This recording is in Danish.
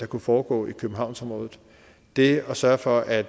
kunne foregå i københavnsområdet det at sørge for at